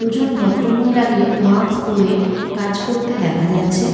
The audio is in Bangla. দুজন ভদ্রমহিলাকে ম্যাক্স পরে কাজ করতে দেখা যাচ্ছে।